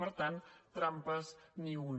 per tant de trampes ni una